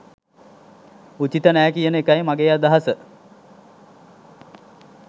උචිත නෑ කියන එකයි මගේ අදහස